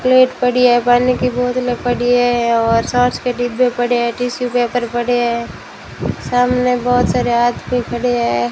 Plate पड़ी है पानी की बोतले पड़ी है और सॉस के डिब्बे पड़े है टिश्यू पेपर पड़े है सामने बहोत सारे आदमी खड़े है।